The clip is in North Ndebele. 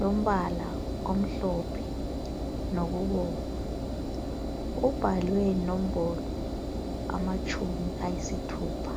lombala omhlophe lokubomvu, kubhalwe inombolo amatshumi ayisithupha.